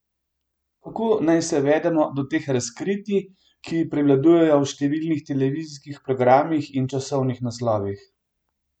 Kako naj se vedemo do teh razkritij, ki prevladujejo v številnih televizijskih programih in časopisnih naslovih?